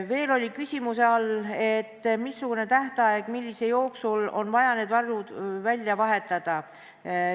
Veel oli küsimuse all, missugune on tähtaeg, mille jooksul on vaja need varud välja vahetada.